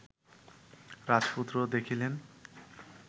রাজপুত্র দেখিলেন